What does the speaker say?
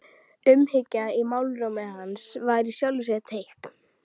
Umhyggjan í málrómi hans var í sjálfu sér teikn.